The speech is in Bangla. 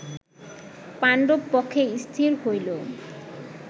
পাণ্ডব পক্ষে স্থির হইল